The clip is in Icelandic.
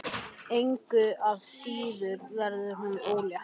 Engu að síður verður hún ólétt.